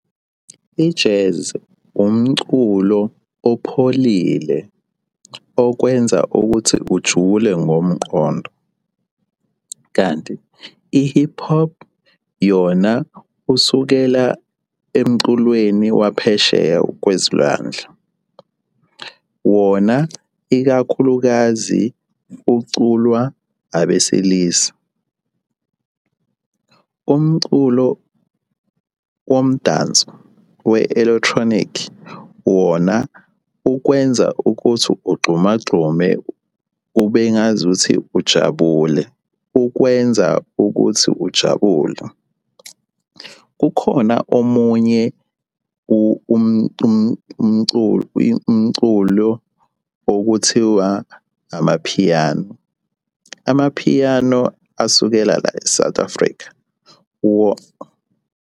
I-jazz umculo opholile okwenza ukuthi ujule ngomqondo, kanti i-hip hop yona usukela emculweni waphesheya kwezilwandle. Wona ikakhulukazi uculwa abesilisa. Umculo womdanso we-electronic wona ukwenza ukuthi ugxuma gxume kube ngazuthi ujabule. Ukwenza ukuthi ujabule. Kukhona omunye umculo okuthiwa amaphiyano. Amaphiyano asukela la e-South Africa .